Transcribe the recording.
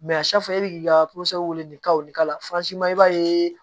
e bi ka wele k'a nin k'a la i b'a ye